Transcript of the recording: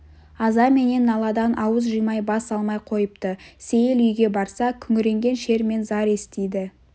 аза менен наладан ауыз жимай бас алмай қойыпты сейіл үйге барса күңіренген шер мен зар естиді